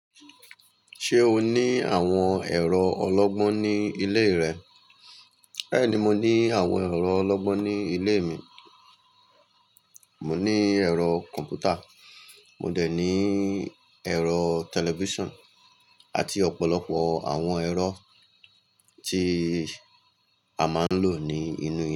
Ṣé o ní àwọn ẹ̀rọ ọlọ́gbọ́n ní ilé rẹ? Bẹ́ẹ̀ni, mo ní àwọn ẹ̀rọ ọlọ́gbọ́n ní ilé mi. Mò ní ẹ̀rọ kọ̀m̀pútà, mo dẹ̀ ní ẹ̀rọ tẹlifíṣàn àti ọ̀pọ̀lọpọ̀ àwọn ẹ̀rọ tí a máa ń lò ní inú ilé.